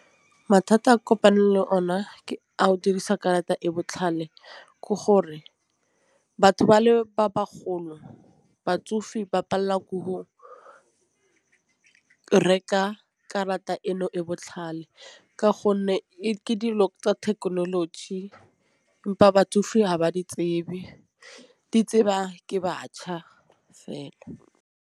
Mathata e ke kopaneng le o ne a go dirisa karata e botlhale ke gore batho ba le ba bagolo. Batsofe ba palelwa ke hoo reka karata eno e botlhale ka gonne ke dilo tsa thekenoloji empa batsofe ha ba di tsebe di tseba ke batjha fela.